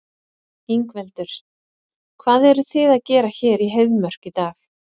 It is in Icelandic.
Ingveldur: Hvað eruð þið að gera hér í Heiðmörk í dag?